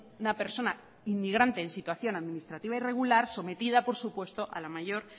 una persona inmigrante en situación administrativa irregular sometida por supuesto a la mayor